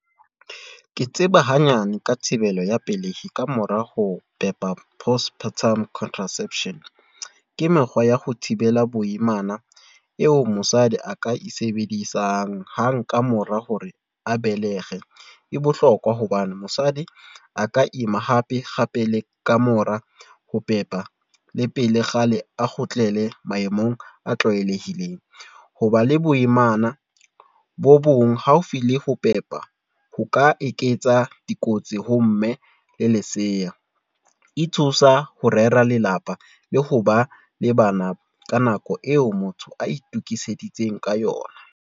Ke tseba hanyane, ka thibelo ya pelehi. Ka mora ho pepa postpartum contraception. Ke mekgwa ya ho thibela boimana eo mosadi a ka e sebedisang hang ka mora hore a belehe. E bohlokwa hobane, mosadi a ka ima hape le ka mora ho pepa le pele kgale a kgutlele maemong a tlwaelehileng. Hoba le boimana bo bong haufi le ho pepa, ho ka eketsa dikotsi ho mme le lesea. E thusa ho rera lelapa le ho ba le bana ka nako eo motho a itukiseditseng ka yona.